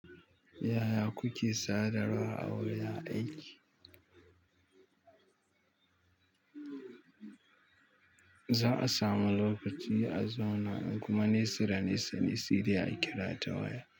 Yaya kuke sadarwa a wurin aiki? Za a samu lokaci a zauna kuma nesa nesa ne sai dai a kira ta waya.